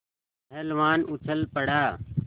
पहलवान उछल पड़ा